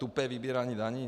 Tupé vybírání daní?